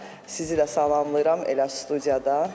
Sizi də salamlayıram elə studiyadan.